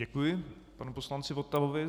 Děkuji panu poslanci Votavovi.